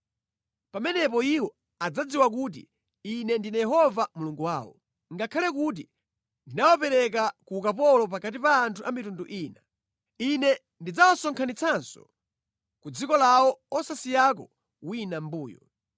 Pamenepo iwo adzadziwa kuti Ine ndine Yehova Mulungu wawo, ngakhale kuti ndinawapereka ku ukapolo pakati pa anthu a mitundu ina. Ine ndidzawasonkhanitsanso ku dziko lawo osasiyako wina mʼmbuyo.